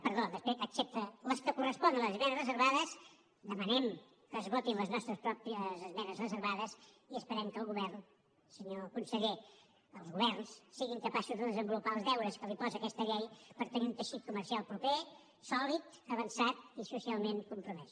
perdó excepte les que corresponen a les esmenes reservades demanem que es votin les nostres pròpies esmenes reservades i esperem que el govern senyor conseller els governs siguin capaços de desenvolupar els deures que els posa aquesta llei per tenir un teixit comercial proper sòlid avançat i socialment compromès